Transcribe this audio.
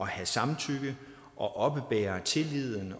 have samtykke og oppebære tilliden